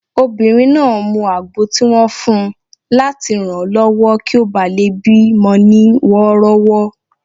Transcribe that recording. Obìnrin náà mu àgbo tí wọ́n fun láti ranlọwọ kí ó bá lè bí mọ ní wọ́rọ́wọ́